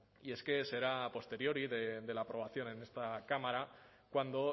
y es que será posterior y de la aprobación en esta cámara cuando